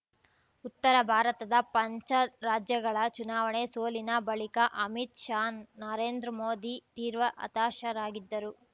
ಉತ್ತರ ಭಾರತದ ಪಂಚ ರಾಜ್ಯಗಳ ಚುನಾವಣೆ ಸೋಲಿನ ಬಳಿಕ ಅಮಿತ್‌ ಶಾನರೇಂದ್ರ ಮೋದಿ ತೀವ್ರ ಹತಾಶರಾಗಿದ್ದರು